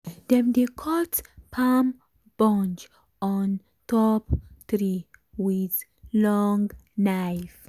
dem dey cut palm bunch on top tree with long knife.